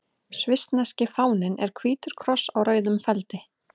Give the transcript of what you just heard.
Svissneski fáninn er hvítur kross á rauðum feldi.